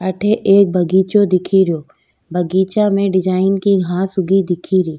अठे रक बगीचा दिखे रो बगीचा में डिजाइन की घांस उगी दिख री।